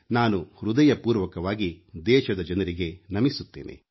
ನಾನು ಹೃದಯಪೂರ್ವಕವಾಗಿ ದೇಶದ ಜನರಿಗೆ ನಮಿಸುತ್ತೇನೆ